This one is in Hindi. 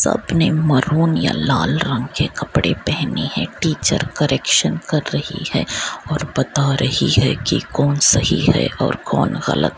सब ने मारून या लाल रंग के कपड़े पहने है टीचर करेक्सन कर रही है और बता रही है की कौन सही है और कौन गलत।